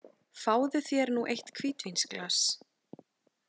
Fáðu þér nú eitt hvítvínsglas.